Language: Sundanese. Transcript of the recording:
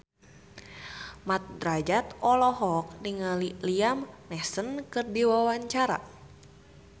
Mat Drajat olohok ningali Liam Neeson keur diwawancara